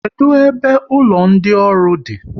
Kedụ ebe ụlọ ndị ọrụ di?